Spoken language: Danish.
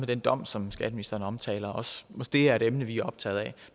den dom som skatteministeren også omtaler det er et emne vi optaget af